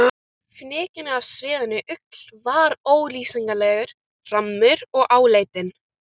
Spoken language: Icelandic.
Fnykurinn af sviðinni ull var ólýsanlegur, rammur og áleitinn.